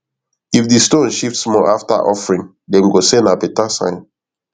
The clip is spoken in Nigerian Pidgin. if di stone shift small after offering dem go say na better sign